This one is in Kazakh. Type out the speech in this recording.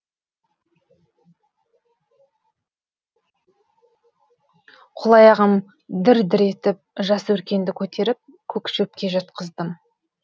қол аяғым дір дір етіп жас өркенді көтеріп көк шөпке жатқыздым